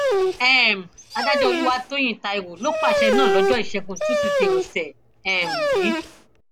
um adájọ olùwátòyìn taiwo ló pàṣẹ náà lọjọ ìṣẹgun túṣídéé ọsẹ um yìí